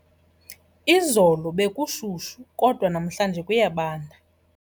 Izolo bekushushu kodwa namhlanje kuyabanda.